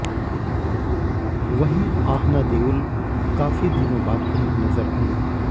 वहीं आहना देओल काफी दिनों बाद कहीं नजर आईं